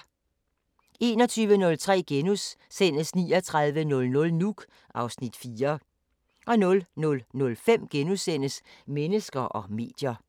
21:03: 3900 Nuuk (Afs. 4)* 00:05: Mennesker og medier *